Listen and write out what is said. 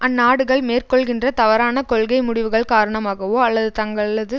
அந்நாடுகள் மேற்கொள்கின்ற தவறான கொள்கை முடிவுகள் காரணமாகவோ அல்லது தங்களது